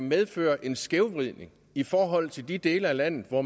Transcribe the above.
medføre en skævvridning i forhold til de dele af landet hvor